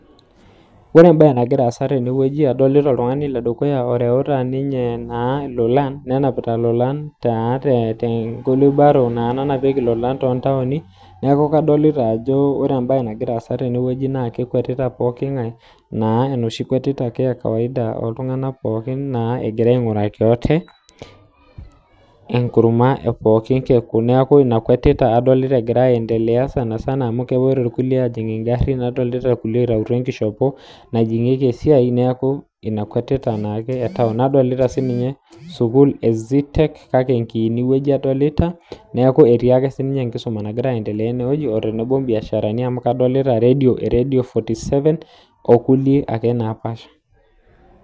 Wore embaye nakira aasa tenewoji, adolita oltungani ledukuya ooreuta ninye naa ilolan. Nenapita ilolan taa tenkulubaro nanapieki ilolan toontaoni, neeku kadolita ajo wore embaye nakira aasa tewoji naa kekwetita pookingae, naa enoshi kwetita ake e kawaida oltunganak pookin naa egira ainguraki wate, enkurma epookin kekun. Neeku iniakuatita adolita ekira aendelea sanisana amu kepoito irkulie aajing inkarrin, nadolita kulie oitayutuo enkishepo najingieki esiai, neeku inia kuatita naake e taon. Nadolita sininye sukuul e zetech kake enkiini wueji adolita. Neeku etiake sininye enkisuma naakira aendelea enewoji o tenebo imbiasharani amu kadolita eradio forty seven o kulie ake naapaasha.